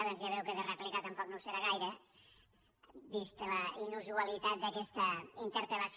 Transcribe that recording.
doncs ja veu que de rèplica tampoc no ho serà gaire vista la inusualitat d’aquesta interpel·lació